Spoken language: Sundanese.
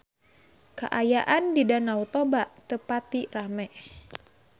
Kaayaan di Danau Toba teu pati rame